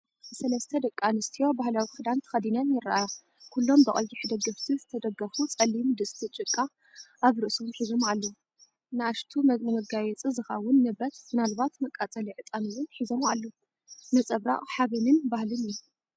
ሰለስተ ደቂ ኣንስትዮ ባህላዊ ክዳን ተኸዲነን ይረኣያ። ኩሎም ብቐይሕ ደገፍቲ ዝተደገፉ ጸሊም ድስቲ ጭቃ ኣብ ርእሶም ሒዞም ኣለዉ። ንኣሽቱ ንመጋየጺ ዝኸውን ንብረት (ምናልባት መቃጸሊ ዕጣን) እውን ሒዞም ኣለዉ። ነጸብራቕ ሓበንን ባህልን እዩ።